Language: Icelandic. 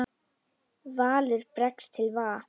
Valur bregst til va